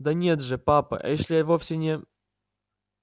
да нет же папа эшли вовсе не